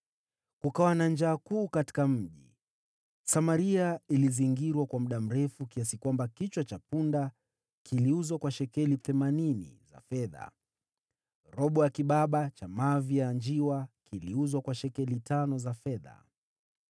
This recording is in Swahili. Kukawa na njaa kuu katika mji. Samaria ilizingirwa kwa muda mrefu, kiasi kwamba kichwa cha punda kiliuzwa kwa shekeli themanini za fedha, na robo ya kibaba cha mavi ya njiwa kiliuzwa kwa shekeli tano za fedha.